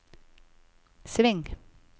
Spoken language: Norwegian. sving